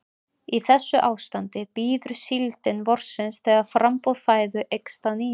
Í þessu ástandi bíður síldin vorsins þegar framboð fæðu eykst að nýju.